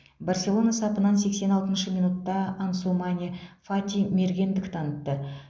барселона сапынан сексен алтыншы минутта ансумане фати мергендік танытты